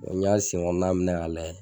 O y'a sen kɔnɔna minɛ k'a lajɛ